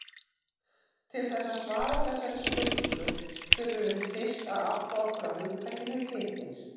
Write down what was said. Til þess að svara þessari spurningu þurfum við fyrst að átta okkur á hugtakinu litir.